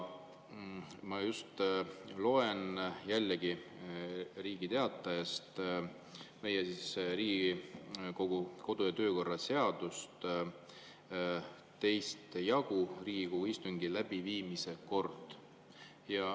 Ma loen jällegi Riigi Teatajast meie Riigikogu kodu- ja töökorra seadust, 2. jagu "Riigikogu istungi läbiviimise kord".